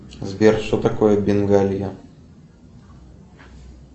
сбер что такое бенгалия